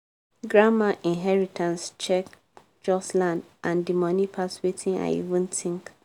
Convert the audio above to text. grandma inheritance check just land and di money pass wetin i even think.